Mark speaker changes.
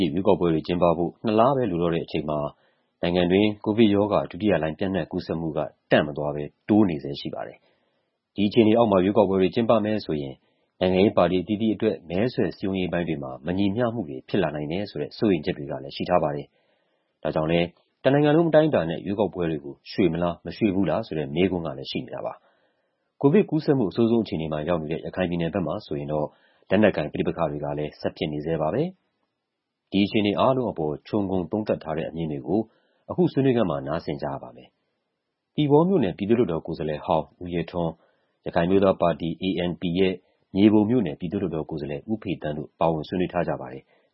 Speaker 1: ြည့် ရွေးကောက်ပွဲတွေကျင်းပဖို့ ၂ လပဲ လိုတော့တဲ့အချိန်မှာ နိုင်ငံတွင်း ကိုဗစ်ရောဂါ ဒုတိယလှိုင်း ပျံ့နှံ့ကူးစက်မှုက တန့်မသွားဘဲ တိုးနေဆဲရှိပါတယ်။ ဒီအခြေအေနေအောက်မှာ ရွေးကောက်ပွဲတွေ ကျင်းပမယ်ဆိုရင် နိုင်ငံရေးပါတီအသီးသီးအတွက် မဲဆွယ်စည်းရုံးရေးပိုင်းတွေမှာ မညီမ ျှမှုတွေ ဖြစ်လာနိုင်တယ်ဆိုတဲ့ စိုးရိမ်ချက်တွေကလည်း ရှိထားပါတယ်။ ဒါကြောင့်လည်း တနိုင်ငံလုံးအတိုင်းအတာနဲ့ ရွေးကောက်ပွဲတွေကို ရွှေ့မလား မရွှေ့ဘူးလားဆိုတဲ့ မေးခွန်းကလည်းရှိနေတာပါ။ ကိုဗစ်ကူးစက်မှု အဆိုးဆုံးအခြေအနေမှာ ရောက်နေတဲ့ ရခိုင်ပြည်နယ်ဘက်မှာဆိုရင်တော့ လက်နက်ကိုင်ပဋိပက္ခတွေကလည်း ဆက်ဖြစ်နေဆဲပါပဲ။ ဒီအခြေအနေအားလုံးအပေါ် ခြုံငုံသုံးသပ်ထားတဲ့အမြင်တွေကို အခုဆွေးနွေးခန်းမှာ နားဆင်ကြရပါမယ်။ သီပေါမြို့နယ်၊ ပြည်သူ့လွှတ်တော် ကိုယ်စားလှယ်ဟောင်း ဦးရဲထွန်း၊ ရခိုင်အမျိုးသးာပါတီ (ANP) ရဲ့ မြေပုံမြို့နယ် ပြည်သူ့လွှတ်တော်ကိုယ်စားလှယ် ဦးဖေသန်းတို့ ပါဝင် ဆွေးနွေးထားကြပါတယ်။